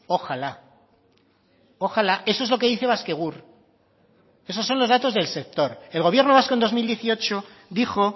ojalá ojalá eso es lo que dice baskegur esos son los datos del sector el gobierno vasco en dos mil dieciocho dijo